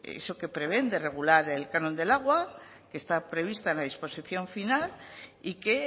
eso que prevén de regular el canon del agua que está prevista en la disposición final y que